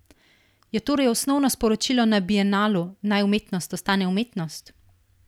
Je torej osnovno sporočilo na bienalu, naj umetnost ostane umetnost?